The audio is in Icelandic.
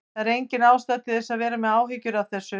Það er engin ástæða til að vera með áhyggjur af þessu.